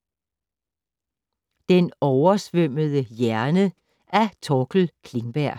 Den oversvømmede hjerne af Torkel Klingberg